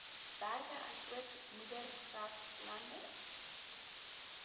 berge asook moeraslande